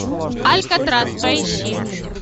алькатрас поищи